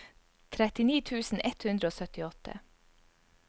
trettini tusen ett hundre og syttiåtte